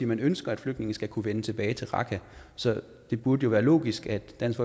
man ønsker at flygtninge skal kunne vende tilbage til raqqa så det burde jo være logisk at dansk